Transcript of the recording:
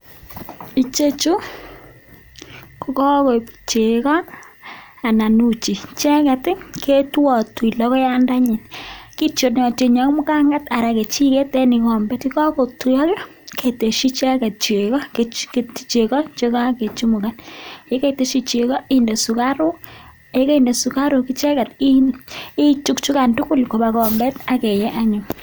ichechu ko chegoo icheget ketonyee mgangeet aketshiii chegoo ak sugaruuk sikoanyinyitu